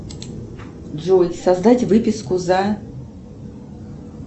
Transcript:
джой создать выписку за